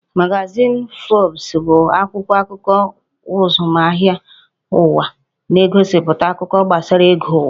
Magazin Forbes bụ akwụkwọ akụkọ azụmahịa ụwa, na-egosipụta akụkọ gbasara ego ụwa